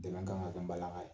Dɛmɛ kan ka kɛ an balaka ye